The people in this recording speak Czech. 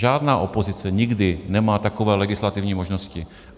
Žádná opozice nikdy nemá takové legislativní možnosti.